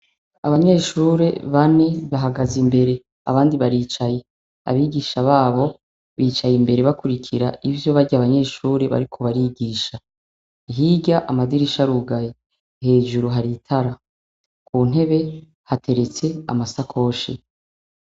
Abanyeshure bane bahagaze imbere abandi baricaye . Abigisha babo bicaye imbere bakwirikira ivyo barya banyeshure bariko barigisha. Hirya amadirisha arugaye . Hejuru hari intara .kuntebe hateretse amasakoshi .